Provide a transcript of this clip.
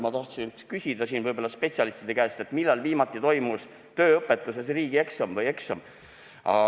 " Ma tahaksin spetsialistide käest küsida, millal viimati toimus tööõpetuses riigieksam või tavaline eksam.